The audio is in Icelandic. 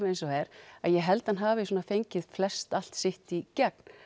eins og er að ég held hann hafi fengið flestallt sitt í gegn